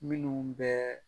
Minnu bɛɛ